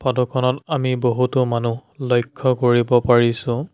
Photo খনত আমি বহুতো মানুহ লক্ষ্য কৰিব পাৰিছোঁ।